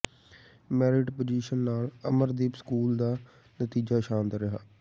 merit position ਨਾਲ Amardeep school ਦਾ ਨਤੀਜਾ ਸ਼ਾਨਦਾਰ ਰਿਹਾ